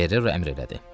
Ferrero əmr elədi.